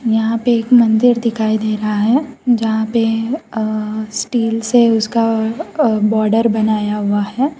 यहां पे एक मंदिर दिखाई दे रहा है जहां पे अ स्टील से उसका अ बॉर्डर बनाया हुआ है।